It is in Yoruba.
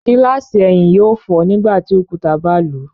Gilasi ẹhin yóò fọ nígbàtí òkúta ba lu